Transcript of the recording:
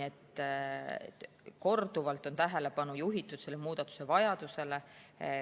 Korduvalt on tähelepanu juhitud selle muudatuse vajadusele.